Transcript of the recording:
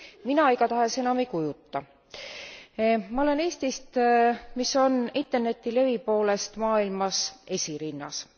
Mina igatahes enam ei kujuta. Ma olen Eestist, mis on Interneti levi poolest maailmas esirinnas.